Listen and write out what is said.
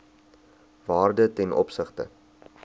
waarde ten opsigte